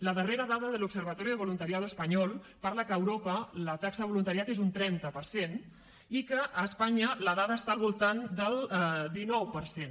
la darrera dada de l’observatorio de voluntariado español parla del fet que a europa la taxa de voluntariat és un trenta per cent i que a espanya la dada està al voltant del dinou per cent